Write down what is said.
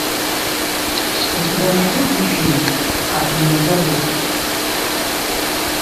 у тебя найдется фильм как меня зовут